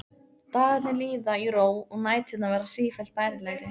Dagarnir líða í ró og næturnar verða sífellt bærilegri.